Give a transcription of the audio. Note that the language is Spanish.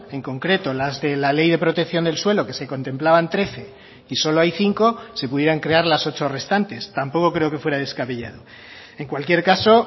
en concreto las de la ley de protección del suelo que se contemplaban trece y solo hay cinco se pudieran crear las ocho restantes tampoco creo que fuera descabellado en cualquier caso